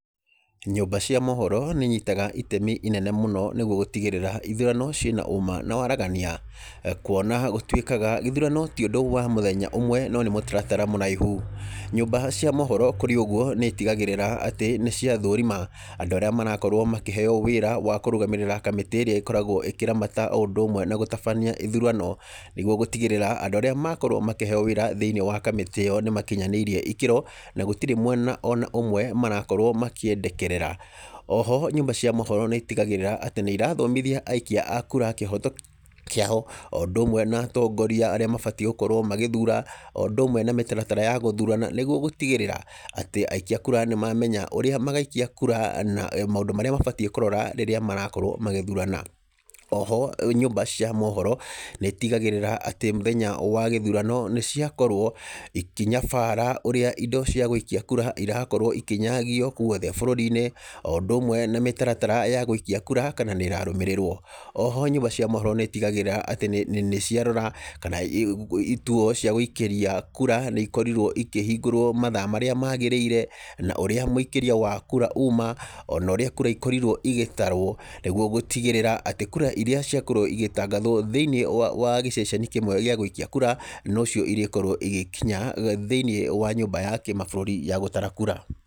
Nyũmba cia mohoro nĩ inyitaga itemi inene mũno nĩ guo gũtigĩrĩra ithurano ciĩ na ũũma na waragania, kuona gũtuĩkaga gĩthurano ti ũndũ wa mũthenya ũmwe, no nĩ mũtaratara mũraihu. Nyũmba cia mohoro kũrĩ ũguo nĩ itigagĩrĩra atĩ nĩ cia thũrima andũ arĩa marakorwo makĩheo wĩra wa kũrũgamĩrĩra kamĩtĩ ĩrĩa ĩkoragwo ĩkĩramata o ũndũ ũmwe na gũtabania ithurano, nĩ guo gũtigĩrĩra andũ arĩa makorwo makĩheo wĩra thĩiniĩ wa kamĩtĩĩ ĩyo nĩ makinyanĩirie ikĩro na gũtirĩ mwena ona ũmwe marakorwo makĩendekerera. Oho nyũmba cia mohoro nĩ itigagĩrĩra atĩ nĩ irathomithia aikia a kura kĩhoto kĩao o ũndũ ũmwe na atongoria arĩa mabatiĩ gũkorwo magĩthura o ũndũ ũmwe na mĩtaratara ya gũthurana nĩ guo gũtigĩrĩra atĩ aikia a kura nĩ mamenya ũrĩa magaikia kura na maũndũ marĩa mabatiĩ kũrora rĩrĩa marakorwo magĩthurana. Oho, nyũmba cia mohoro nĩ itigagĩrĩra atĩ mũthenya wa gĩthurano nĩ cia korwo ikĩnyabara ũrĩa indo cia gũikia kura irakorwo ikĩnyagio guothe bũrũri-inĩ o ũndũ ũmwe na mĩtaratara ya gũikia kura kana nĩ ĩrarumĩrĩrwo. Oho nyũmba cia mohoro nĩ itigagĩrĩra atĩ nĩ ciarora kana ituo cia gũikĩria kura nĩ ikorirwo ikĩhingũrwo mathaa marĩa magĩrĩire, na ũrĩa mũikĩria wa kura uma, ona ũrĩa kura ikorirwo igĩtarwo nĩ guo gũtigĩrĩra atĩ kura iria ciakorwo igĩtangathwo thĩiniĩ wa gĩceceni kĩmwe gĩa gũikia kura, no cio irĩkorwo igĩkinya thĩiniĩ wa nyũmba ya kĩmabũrũri ya gũtara kura.